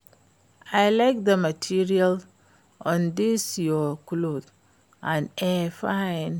I like the material of dis your cloth and e fine